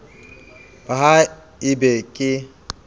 ba ha e be ke